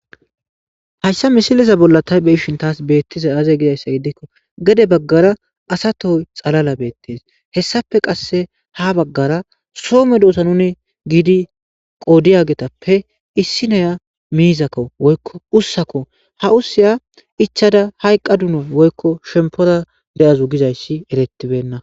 hayssa misiliza bolla tay be ishin taas beettiza aaze gizayssa gidikko gade baggara asatoy xalala beettees hessape qasse ha baggara soome doosa nuni giidi qoodiyagetappe issi neya miizakko oykko ussako ha usiya ichada hayqqa duna woykko shempora de7azu gizayssi erettibenna